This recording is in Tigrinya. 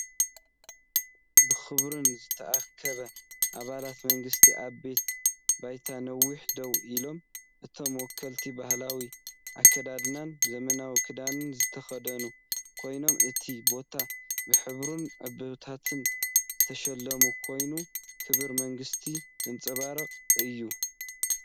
ብኽብሪን ዝተኣከቡ ኣባላት መንግስቲ ኣብ ቤት ባይቶ ነዊሕ ደው ኢሎም። እቶም ወከልቲ ባህላዊ ኣከዳድናን ዘመናዊ ክዳንን ዝተኸድኑ ኮይኖም፡ እቲ ቦታ ብሕብርን ዕምባባታትን ዝተሸለመ ኮይኑ፡ ክብሪ መንግስቲ ዘንጸባርቕ እዩ።